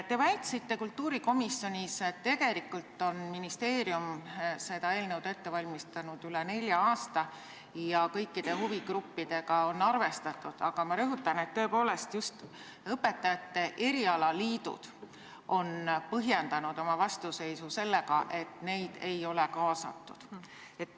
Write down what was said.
Te väitsite kultuurikomisjonis, et tegelikult on ministeerium seda eelnõu ette valmistanud üle nelja aasta ja kõikide huvigruppidega on arvestatud, aga ma rõhutan, et just õpetajate erialaliidud on põhjendanud oma vastuseisu sellega, et neid ei ole kaasatud.